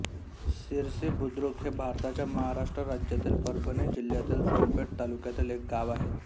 सिरसीबुद्रुक हे भारताच्या महाराष्ट्र राज्यातील परभणी जिल्ह्यातील सोनपेठ तालुक्यातील एक गाव आहे